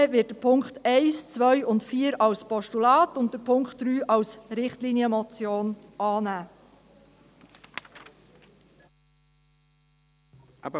Die EVP wird die Punkte 1, 2, und 4 als Postulat und Punkt 3 als Richtlinienmotion annehmen.